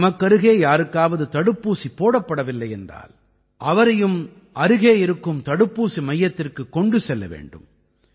நமக்கருகே யாருக்காவது தடுப்பூசி போடப்படவில்லை என்றால் அவரையும் அருகே இருக்கும் தடுப்பூசி மையத்திற்குக் கொண்டு செல்ல வேண்டும்